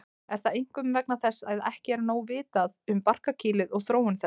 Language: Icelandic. Er það einkum vegna þess að ekki er nóg vitað um barkakýlið og þróun þess.